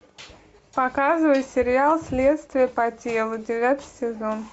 показывай сериал следствие по телу девятый сезон